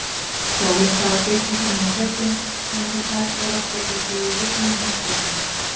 Sólin stafar geislum sínum á fjöllin, sem nota tækifærið og spegla sig í lygnum haffletinum.